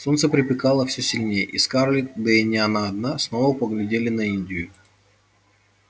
солнце припекало всё сильнее и скарлетт да и не она одна снова поглядела на индию